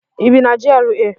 ị bi na GRA?